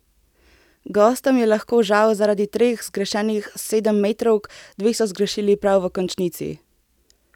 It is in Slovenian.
Gostom je lahko žal zaradi treh zgrešenih sedemmetrovk, dve so zgrešili prav v končnici.